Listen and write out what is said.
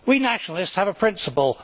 We nationalists have a principle.